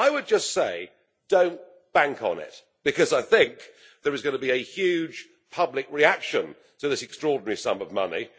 Well, I would just say Don't bank on it' because I think there is going to be a huge public reaction to this extraordinary sum of money.